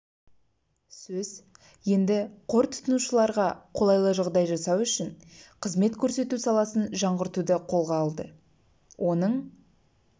сөз енді қор тұтынушыларға қолайлы жағдай жасау үшін қызмет көрсету саласын жаңғыртуды қолға алды оның